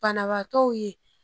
Kanabaatɔw ye